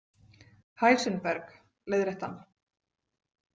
Heisenberg, leiðrétti hann. „